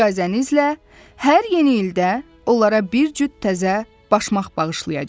İcazənizlə, hər yeni ildə onlara bir cüt təzə başmaq bağışlayacam.